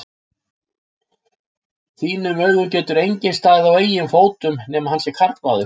þínum augum getur enginn staðið á eigin fótum nema hann sé karlmaður.